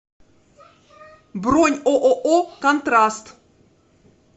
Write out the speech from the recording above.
бронь ооо контраст